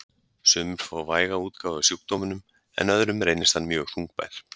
Sumir fá væga útgáfu af sjúkdómnum en öðrum reynist hann mjög þungbær.